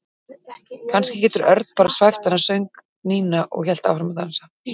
Kannski getur Örn bara svæft hana söng Nína og hélt áfram að dansa.